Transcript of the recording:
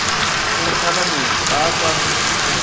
o ntlhanametše ga a sa